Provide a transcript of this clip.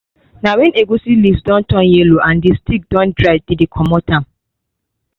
na when egusi leaves don turn yellow and the stick don dry dem dey commot am